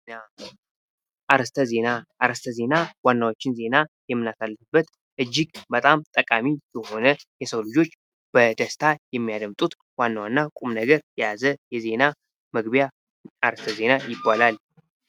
አርስተ ዜና አርስታ ዜና ዋናዎችን ዜና የምናሳልፍበት እጅግ በጣም ጠቃሚ የሆነ የሰው ልጆች በደስታ የሚያደምጡት ዋና ዋና ቁም ነገር የያዘ የዜና መግቢያ አርስተ ዜና ይባላል።